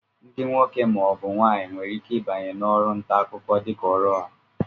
Ndị nwoke ma ọ bụ nwaanyị nwere ike ịbanye n'ọrụ nta akụkọ dịka ọrụ ha